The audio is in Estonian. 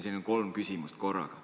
Sellised kolm küsimust korraga.